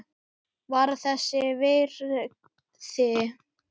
Var þess virði!